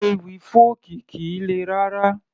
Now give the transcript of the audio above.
Ewì fọ́ọ̀kì kìí le rárá